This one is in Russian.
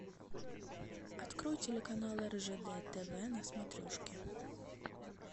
открой телеканал ржд тв на смотрешке